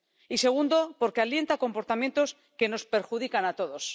Y, segundo, porque alienta comportamientos que nos perjudican a todos.